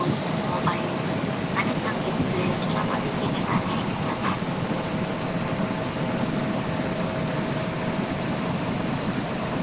आणि संगीत PLAYER च्या मदतीने गाणे ऐकतात.